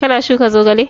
Ka na shuka zogale?